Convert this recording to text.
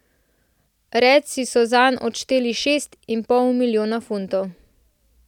Redsi so zanj odšteli šest in pol milijona funtov.